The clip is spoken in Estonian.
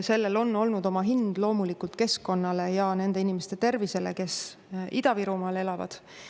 Sellel on olnud oma hind loomulikult keskkonnale ja nende inimeste tervisele, kes Ida-Virumaal elavad.